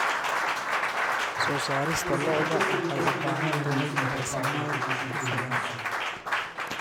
Soo saarista lo'da lo'da waxay u baahan tahay raasamaal ku filan.